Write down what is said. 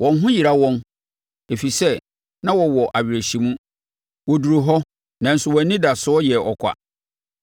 Wɔn ho yera wɔn, ɛfiri sɛ na wɔwɔ awerɛhyɛmu; wɔduruu hɔ, nanso wɔn anidasoɔ yɛ ɔkwa.